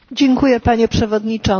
Panie Przewodniczący!